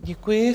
Děkuji.